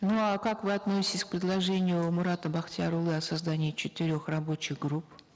ну а как вы относитесь к предложению мурата бахтиярулы о создании четырех рабочих групп